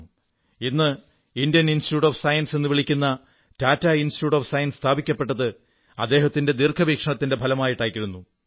ഇന്ന് Indian institute of science എന്നു വിളിക്കുന്ന ടാറ്റ ഇൻസ്റ്റിറ്റ്യൂട്ട് ഓഫ് സയൻസ് സ്ഥാപിക്കപ്പെട്ടത് അദ്ദേഹത്തിന്റെ ദീർഘവീക്ഷണത്തിന്റെ ഫലമായിട്ടായിരുന്നു